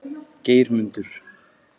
Geirmundur